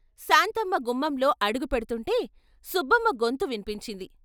శాంతమ్మ గుమ్మంలో అడుగుపెడ్తుంటే సుబ్బమ్మ గొంతు విన్పించింది.